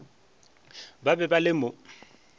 ba be ba le mo